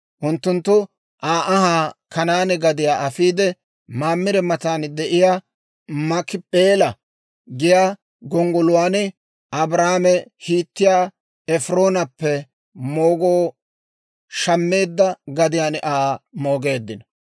unttunttu Aa ahaa Kanaane gadiyaa afiide, Mamire matan de'iyaa Maakip'eela giyaa gonggoluwaan, Abrahaame Hiitiyaa Efiroonappe moogoo shammeedda gadiyaan Aa moogeeddino.